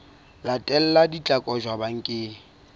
latelang di tla kotjwa bakeng